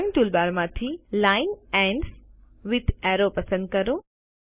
drawing ટૂલબારમાંથી line ends with arrow પસંદ કરો